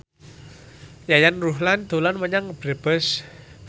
Yayan Ruhlan dolan menyang Brebes